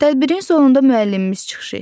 Tədbirin sonunda müəllimimiz çıxış etdi.